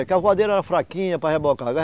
a voadeira era fraquinha para rebocar.